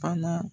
Fana